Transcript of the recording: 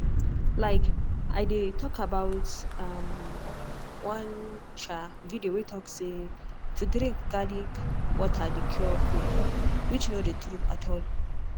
like i dey talk about um one um video way talk say to drink garlic water dey cure cold which no dey true at all.